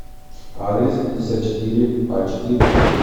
адрес пятьдесятчетыреачетыре